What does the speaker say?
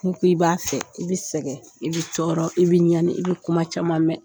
N'i ko i b'a fɛ, i bi sɛgɛn, i bi tɔɔr, i bɛ ɲani , i bi kuma caman mɛn.